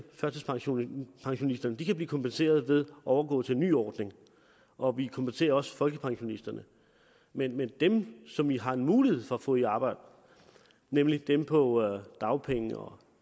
førtidspensionisterne blive kompenseret ved at overgå til en ny ordning og vi kompenserer også folkepensionisterne men men dem som vi har en mulighed for at få i arbejde nemlig dem på dagpenge og